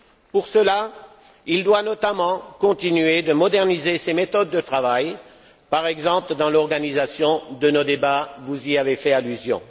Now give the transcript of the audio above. Pour cela, il doit notamment continuer de moderniser ses méthodes de travail, par exemple dans l'organisation de nos débats vous y avez fait allusion.